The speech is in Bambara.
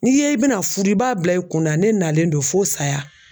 N'i ye i bɛna fudu i b'a bila i kunna ne nalen do fo saya.